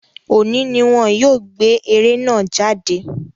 Òní ni wọ́n yóò gbé eré náà jáde